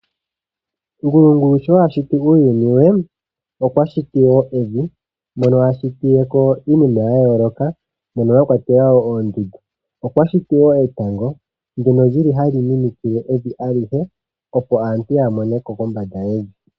Ngulungulu sho a shiti uuyuni we okwa shiti wo evi mono a shitile ko iinima yayooloka mono mwakwatelwa oondundu. Okwa shiti wo etango ndono lyili hali minikile evi alihe opo aantu ya mone ko kombanda yevi.